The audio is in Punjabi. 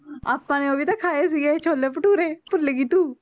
ਆਪਾਂ ਨੇ ਉਹ ਵੀ ਤਾਂ ਖਾਏ ਸੀਗੇ ਛੋਲੇ ਭਟੂਰੇ ਭੁੱਲ ਗਈ ਤੂੰ